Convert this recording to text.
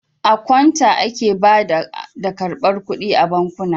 A kawunta ake bada da ƙarbar ƙuɗi a bankuna.